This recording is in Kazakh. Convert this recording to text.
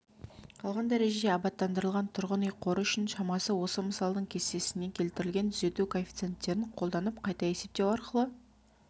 қалған дәрежеде абаттандырылған тұрғын үй қоры үшін шамасы осы мысалдың кестесінде келтірілген түзету коэффициенттерін қолданып қайта есептеу арқылы